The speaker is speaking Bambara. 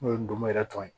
N'o ye ndomo yɛrɛ tɔn ye